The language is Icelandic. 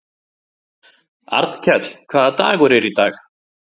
Arnkell, hvaða dagur er í dag?